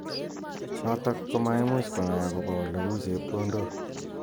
Notok komaimuch konai akobo oleu chepkondok.